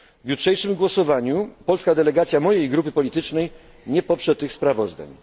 W jutrzejszym głosowaniu polska delegacja mojej grupy politycznej nie poprze tych sprawozdań.